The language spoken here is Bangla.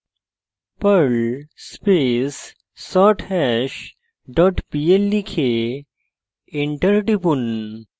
perl space sorthash dot pl লিখে enter টিপুন